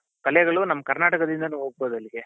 ಕಲೆಗಳು ನಮ್ ಕರ್ನಾಟಕದಿಂದಾನು ಹೊಗ್ಬೋದಲ್ಲಿಗೆ